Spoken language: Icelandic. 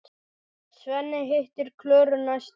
Svenni hittir Klöru næstu kvöld.